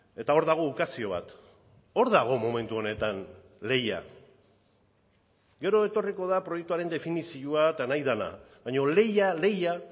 eta hor dago ukazio bat hor dago momentu honetan lehia gero etorriko da proiektuaren definizioa eta nahi dena baina lehia lehia